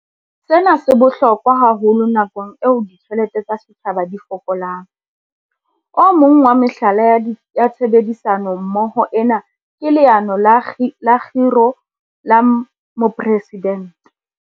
Sena se bohlokwa haholo nakong eo ditjhelete tsa setjhaba di fokolang. O mong wa mehlala ya tshebedisano mmoho ena ke Leano la Kgiro la Mopresi-dente.